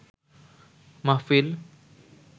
মাহফিল